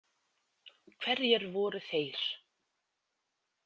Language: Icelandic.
Hverjir voru þeir?